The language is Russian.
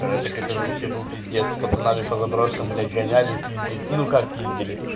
так это же вообще был пиздец с пацанами по заброшкам блять гоняли и пиздили ну как пиздили